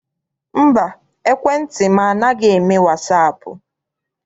Mba, ekwentị m anaghị eme wasaapụ.